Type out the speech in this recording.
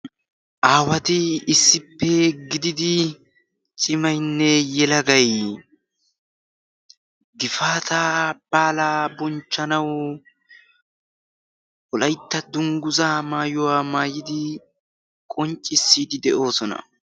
aawati issippe gididi cimaynne yelagay gifaata baala bonchchanau wolaytta dungguza maayuwaa maayidi qonccissiidi de'oosona